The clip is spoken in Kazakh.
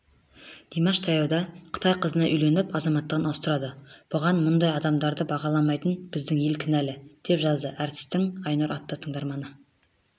димаш таяуда қытай қызына үйленіп азаматтығын ауыстырады бұған мұндай адамдарды бағаламайтын біздің ел кінәлі деп жазды әртістің айнұр атты тыңдарманы